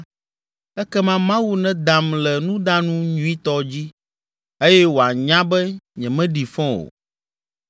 ekema Mawu nedam le nudanu nyuitɔ dzi eye wòanya be nyemeɖi fɔ o.